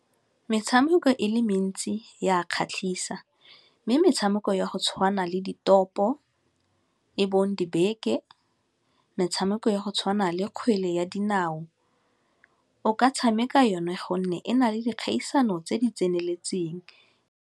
Metshameko e le mentsi ya a kgatlhisa mme metshameko ya go tshwana le ditopo e bong dibeke, metshameko ya go tshwana le kgwele ya dinao, o ka tshameka yone gonne e na le dikgaisano tse di tseneletseng.